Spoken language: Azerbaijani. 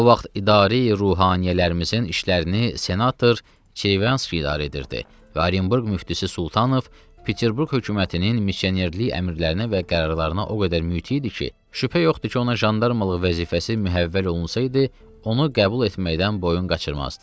O vaxt idarə-i ruhaniyələrimizin işlərini senator Çirevanski idarə edirdi və Orenburq müftisi Sultanov Peterburq hökumətinin missionerlik əmrlərinə və qərarlarına o qədər mütii idi ki, şübhə yoxdur ki, ona jandarmalıq vəzifəsi mühəvvəl olunsaydı, onu qəbul etməkdən boyun qaçırmazdı.